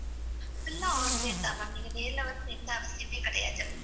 full ஆ online தான் ma'am. நீங்க நேர்ல வர எந்த அவசியமே கிடையாது.